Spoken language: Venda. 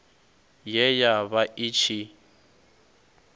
ye ya vha i tshi